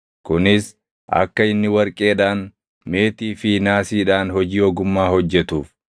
Kunis akka inni warqeedhaan, meetii fi naasiidhaan hojii ogummaa hojjetuuf;